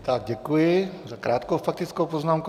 Tak děkuji za krátkou faktickou poznámku.